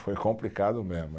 Foi complicado mesmo.